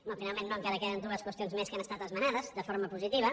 no finalment no encara queden dues qüestions més que han estat esmenades de forma positiva